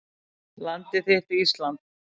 Landið þitt Ísland